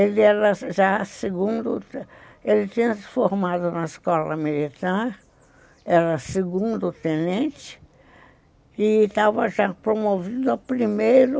Ele era já segundo... Ele tinha se formado na escola militar, era segundo-tenente e estava já promovido a primeiro